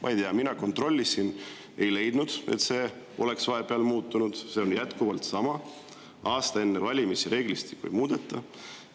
Ma ei tea, mina kontrollisin, ei leidnud, et see oleks vahepeal muutunud, see on jätkuvalt sama, et aasta enne valimisi reeglistikku ei muudeta.